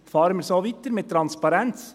Fahren wir so weiter, mit Transparenz.